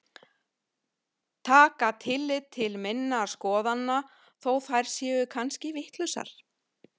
Taka tillit til minna skoðana þó að þær séu kannski vitlausar.